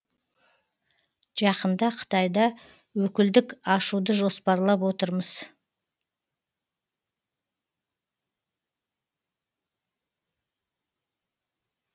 жақында қытайда өкілдік ашуды жоспарлап отырмыз